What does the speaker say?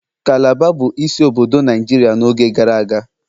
Calabar bụ isi obodo Naijiria n'oge gara aga